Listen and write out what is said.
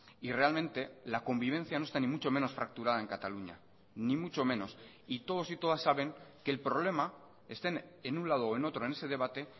y realmente la convivencia no está ni mucho menos fracturada en cataluña ni mucho menos y todos y todas saben que el problema estén en un lado o en otro en ese debate